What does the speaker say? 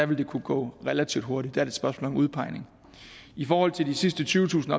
vil det kunne gå relativt hurtigt er et spørgsmål om udpegning i forhold til de sidste tyvetusind